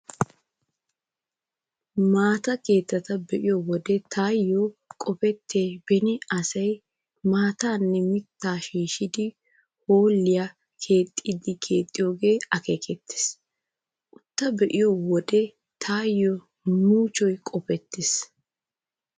Maata keettaa be'iyo wode taayyo qopettiyay beni asay maataanne mittaa shiishshidi hoolliyaa yexxiiddi keexxiyoogee akeekettees. Uuttaa be'iyo wode taayyo muchchoy qopettees.